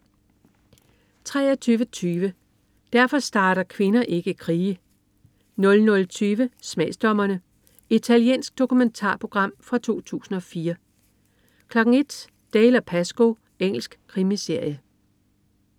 23.20 Derfor starter kvinder ikke krige 00.20 Smagsdommerne. Italiensk dokumentar fra 2004 01.00 Dalziel & Pascoe. Engelsk krimiserie